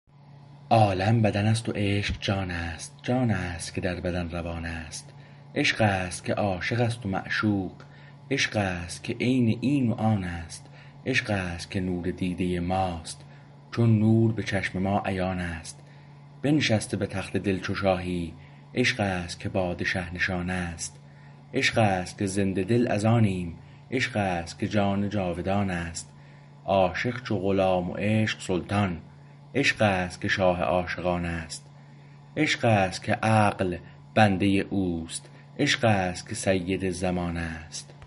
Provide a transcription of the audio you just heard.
عالم بدن است و عشق جان است جان است که در بدن روان است عشقست که عاشق است و معشوق عشق است که عین این و آن است عشق است که نور دیده ماست چون نور به چشم ما عیان است بنشسته به تخت دل چو شاهی عشق است که پادشه نشان است عشق است که زنده دل از آنیم عشق است که جان جاودان است عاشق چو غلام و عشق سلطان عشق است که شاه عاشقان است عشق است که عقل بنده اوست عشق است که سید زمان است